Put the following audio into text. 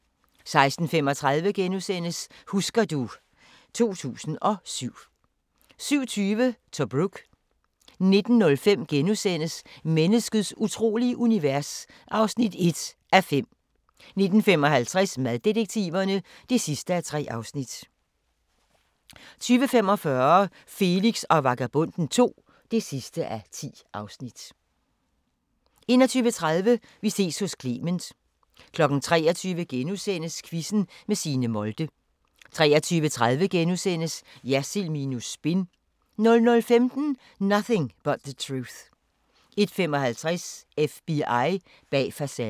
16:35: Husker du ... 2007 * 17:20: Tobruk 19:05: Menneskets utrolige univers (1:5)* 19:55: Maddetektiverne (3:3) 20:45: Felix og Vagabonden II (10:10) 21:30: Vi ses hos Clement 23:00: Quizzen med Signe Molde * 23:30: Jersild minus spin * 00:15: Nothing But the Truth 01:55: FBI bag facaden